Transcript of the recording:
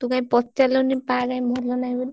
ତୁ କାଇଁ ପଚାରିଲୁନି ପା କାଇଁ ଭଲ ନାହି ବୋଲି।